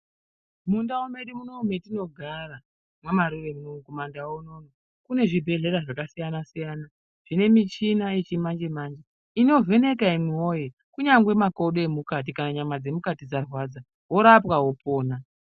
Mundau medu munomu metinogara mamarure munomu kumandau unono. Kune zvibhedhlera zvakasiyana-siyana zvine michina yechimanje-manje, inovheneka imwi voye kunyangwe makodo emukati kana nyama dzemukati dzarwadza vorapwa vopona.